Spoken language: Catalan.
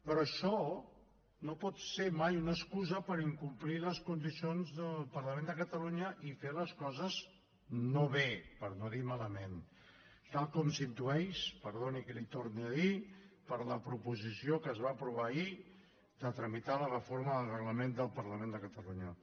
però això no pot ser mai una excusa per incomplir les condicions del parlament de catalunya i fer les coses no bé per no dir malament tal com s’intueix perdoni que l’hi torni a dir per la proposició que es va aprovar ahir de tramitar la reforma del reglament del parlament de catalunya